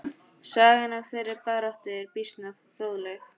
Sagan af þeirri baráttu er býsna fróðleg.